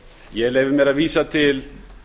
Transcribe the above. ég leyfi mér að vísa til